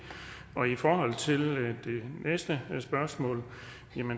i forhold til det næste spørgsmål